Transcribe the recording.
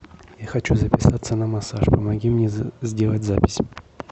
я хочу записаться на массаж помоги мне сделать запись